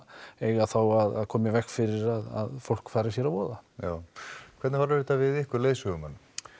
eiga þá að koma í veg fyrir að fólk fari sér að voða já hvernig horfir þetta við ykkur leiðsögumenn